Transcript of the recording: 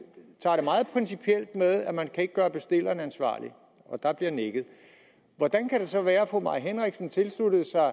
at man ikke kan gøre bestilleren ansvarlig og der blev nikket hvordan kan det så være at fru mai henriksen tilsluttede sig